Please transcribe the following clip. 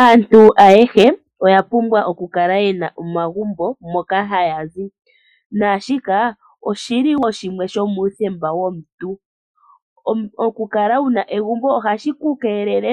Aantu ayehe oya pumbwa oku kala ye na omagumbo moka haya zi naashika oshi li shimwe shomuuthemba womuntu. Okukala wu na egumbo ohashi ku keelele